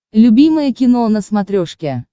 любимое кино на смотрешке